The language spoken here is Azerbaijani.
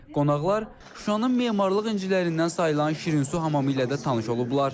Qonaqlar Şuşanın memarlıq incilərindən sayılan Şirinsu hamamı ilə də tanış olublar.